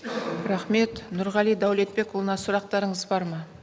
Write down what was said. рахмет нұрғали дәулетбекұлына сұрақтарыңыз бар ма